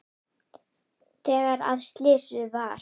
Þegar að slysið varð?